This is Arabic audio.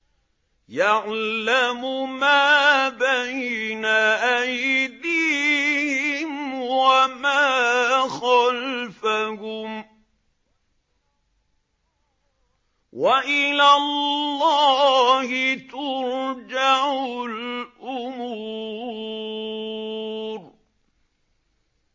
يَعْلَمُ مَا بَيْنَ أَيْدِيهِمْ وَمَا خَلْفَهُمْ ۗ وَإِلَى اللَّهِ تُرْجَعُ الْأُمُورُ